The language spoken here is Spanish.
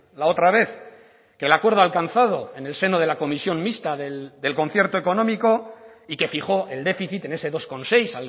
la otra vez que el acuerdo alcanzado en el seno de la comisión mixta del concierto económico y que fijó el déficit en ese dos coma seis